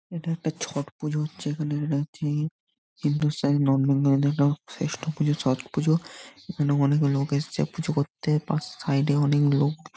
এটা একটা ছট পুজো হচ্ছে এখানে রীতি হিন্দুস্থানী নর্থবেঙ্গলী -দের শ্রেষ্ঠ পুজো ছট পূজো | এখানে অনেক লোক এসেছে পুজো করতে বা সাইড -এ অনেক লোক।